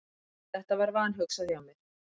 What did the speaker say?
Þetta var vanhugsað hjá mér.